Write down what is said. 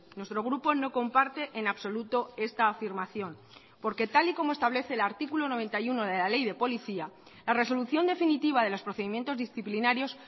nuestro grupo no comparte en absoluto esta afirmación porque tal y como establece el artículo noventa y uno de la ley de policía la resolución definitiva de los procedimientos disciplinarios